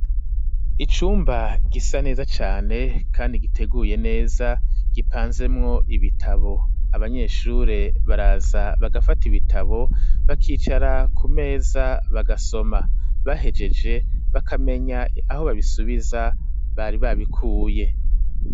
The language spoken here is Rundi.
Icumba gisa neza cane kandi giteguye neza gipanzemwo ibitabo, abanyeshure baraza bagafata ibitabo bakicara ku meza bagasoma ,bahegeje bakamenya aho babisubiza bari babikuye.